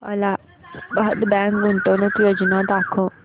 Allahabad bank गुंतवणूक योजना दाखव